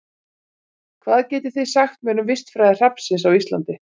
Hvað getið þið sagt mér um vistfræði hrafnsins á Íslandi?